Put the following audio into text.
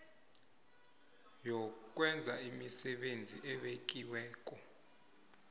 yokwenza imisebenzi ebekiweko